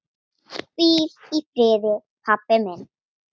Hvíl í friði, pabbi minn.